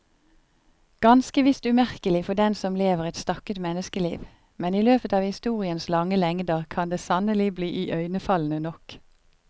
Ganske visst umerkelig for den som lever et stakket menneskeliv, men i løpet av historiens lange lengder kan det sannelig bli iøynefallende nok.